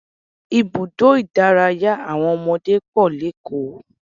Ibùdó ìdárayá àwọn ọmọdé pọ̀ lékòó